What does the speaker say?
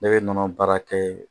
Ne bɛ nɔnɔ baara kɛ